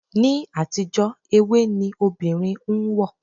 Ni àtijó ewé ni obìnrin ń wọ̀.